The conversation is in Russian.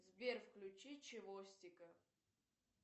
сбер включи чевостика